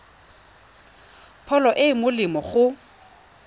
pholo e e molemo go